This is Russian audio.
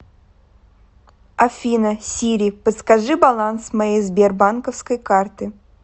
афина сири подскажи баланс моей сбербанковской карты